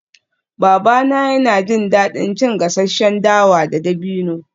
Babana yana jin daɗin cin gasasshen dawa da dabino